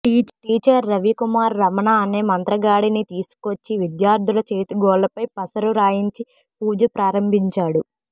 teacher Ravi Kumar Ramana అనే మంత్రగాడిని తీసుకొచ్చి విద్యార్థుల చేతి గోళ్లపై పసరు రాయించి పూజ ప్రారంభించాడు